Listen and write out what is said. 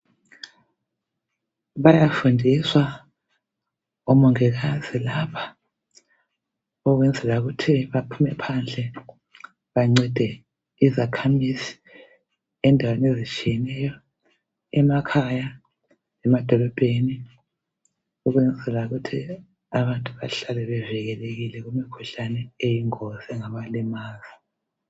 Bayafundiswa lapha omongikazi ukwenzela ukuthi baphume phandle bancede izakhamizi endaweni ezitshiyeneyo endaweni zemakhaya lemadolobheni ukwenzela ukuthi abantu bahlale bevikelekile ngasosonke iskhathi.